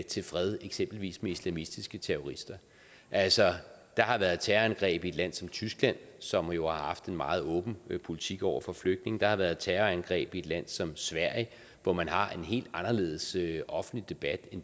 til fred eksempelvis med islamistiske terrorister altså der har været terrorangreb i et land som tyskland som jo har haft en meget åben politik over for flygtninge der har været terrorangreb i et land som sverige hvor man har en helt anderledes offentlig debat